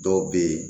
Dɔw bɛ ye